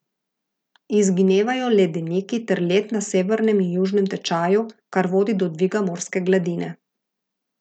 Izginevajo ledeniki ter led na severnem in južnem tečaju, kar vodi do dviga morske gladine.